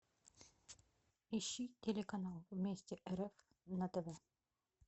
ищи телеканал вместе рф на тв